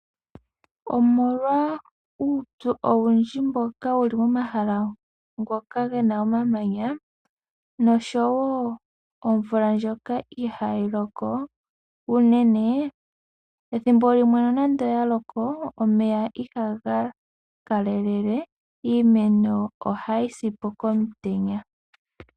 Omolwa uupyu owundji mboka wu li momahala ngoka ge na omamanya nosho wo omvula ndjoka ihayi loko unene, ethimbo limwe nonando oya loko omeya ihaga kalele. Iimeno ohayi si po komutenya.